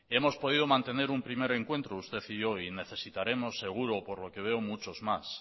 hemos podido mantener un primer encuentro usted y yo hoy y necesitaremos seguro por lo que veo muchos más